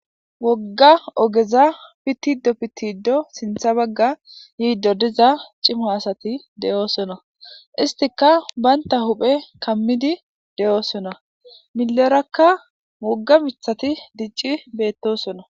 wogga ogeza pitido pitiddo sintha bagga yiiddo diza cimo asati de7oosona istika baynta huphe kammidi de7oosona milerakka mogga mithati dicci beettosona